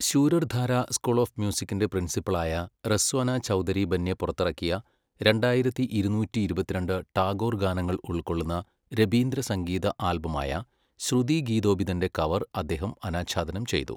Surer Dhara school of മ്യൂസിക്കിൻ്റെ പ്രിൻസിപ്പലായ റെസ്വാനാ ചൗധരി ബന്യ പുറത്തിറക്കിയ, രണ്ടായിരത്തി ഇരുന്നൂറ്റി ഇരുപത്തിരണ്ട് ടാഗോർ ഗാനങ്ങൾ ഉൾക്കൊള്ളുന്ന രബീന്ദ്രസംഗീത ആൽബമായ ശ്രുതി ഗീതോബിതൻ്റെ കവർ അദ്ദേഹം അനാച്ഛാദനം ചെയ്തു.